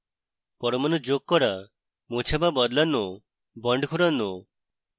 পরমাণু যোগ করা মোছা বা বদলানো bonds ঘোরানো